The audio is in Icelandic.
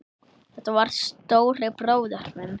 Þetta var stóri bróðir minn.